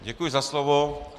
Děkuji za slovo.